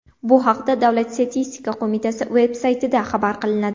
Bu haqda Davlat statistika qo‘mitasi veb-saytida xabar qilinadi .